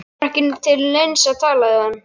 Það var ekki til neins að tala við hann.